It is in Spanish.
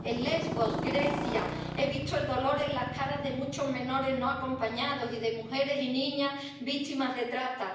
En Lesbos he visto el dolor en las caras de muchos menores no acompañados y de mujeres y niñas víctimas de trata